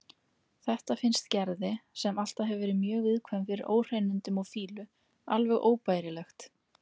Þetta finnst Gerði, sem alltaf hefur verið mjög viðkvæm fyrir óhreinindum og fýlu, alveg óbærilegt.